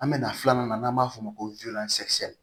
An bɛ na filanan na n'an b'a fɔ o ma ko